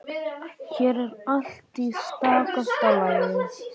Hér er allt í stakasta lagi.